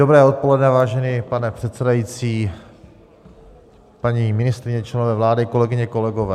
Dobré odpoledne, vážený pane předsedající, paní ministryně, členové vlády, kolegyně, kolegové.